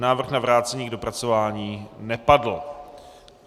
Návrh na vrácení k dopracování nepadl.